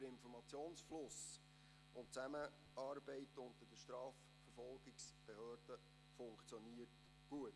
Der Informationsfluss und die Zusammenarbeit unter den Strafverfolgungsbehörden funktionieren gut.